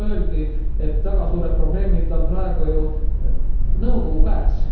Siin juba öeldi, et väga suured probleemid on praegu ju nõukogu käes.